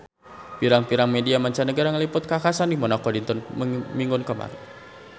Pirang-pirang media mancanagara ngaliput kakhasan di Monaco dinten Minggon kamari